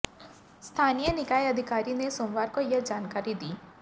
स्थानीय निकाय अधिकारी ने सोमवार को यह जानकारी दी